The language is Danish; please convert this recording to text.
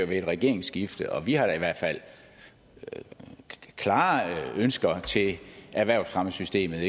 ved et regeringsskifte vi har da i hvert fald klare ønsker til erhvervsfremmesystemet og